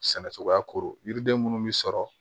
Sɛnɛ cogoya ko yiriden minnu bi sɔrɔ